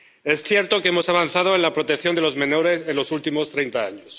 Es cierto que hemos avanzado en la protección de los menores en los últimos treinta años